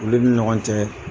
Olu ni ɲɔgɔn cɛ.